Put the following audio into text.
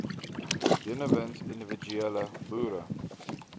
benewens individuele boere